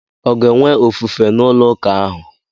Ọ ga-enwe ofufe n'ụlọ ụka ahụ?